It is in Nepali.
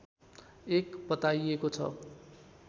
एक बताइएको छ